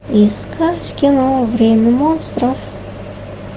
искать кино время монстров